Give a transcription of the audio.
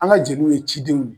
An ka jeliw ye cidenw ye